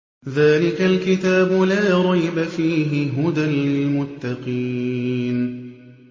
ذَٰلِكَ الْكِتَابُ لَا رَيْبَ ۛ فِيهِ ۛ هُدًى لِّلْمُتَّقِينَ